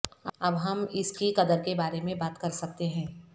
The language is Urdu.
اب ہم اس کی قدر کے بارے میں بات کر سکتے ہیں